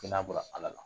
Kɛnɛya bɔra ala la